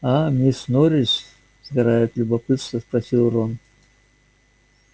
а мисс норрис сгорая от любопытства спросил рон